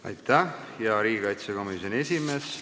Aitäh, hea riigikaitsekomisjoni esimees!